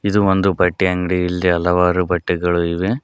ಇದು ಒಂದು ಬಟ್ಟೆ ಅಂಗಡಿ ಇಲ್ಲಿ ಹಲವಾರು ಬಟ್ಟೆಗಳು ಇವೆ.